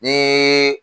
Ni